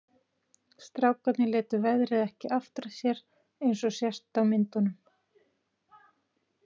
Strákarnir létu veðrið ekki aftra sér eins og sést á myndunum.